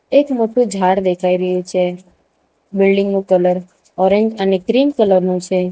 એક મોટું ઝાડ દેખાઈ રહ્યું છે બિલ્ડીંગ નું કલર ઓરેન્જ અને ક્રીમ કલર નું છે.